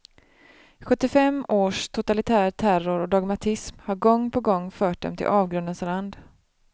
Sjuttiofem års totalitär terror och dogmatism har gång på gång fört dem till avgrundens rand.